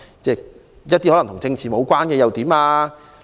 說一個與政治無關的例子。